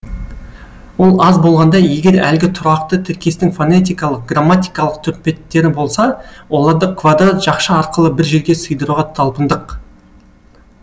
ол аз болғандай егер әлгі тұрақты тіркестің фонетикалық грамматикалық түрпеттері болса оларды квадрат жақша арқылы бір жерге сыйдыруға талпындық